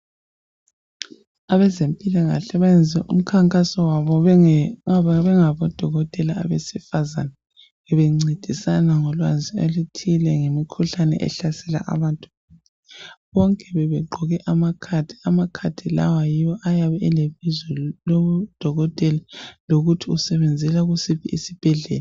Abezempilakahle benze umkhankaso wabo bengangabo dokotela abesifazana bencintisana ngolwazi oluthile ngemikhuhlane ehlasela abantu. Bonke bebegqoke amakhadi, amakhadi lawa yiwo ayabe elebizo lodokotela lokuthi usebenzela kusiphi isibhedlela.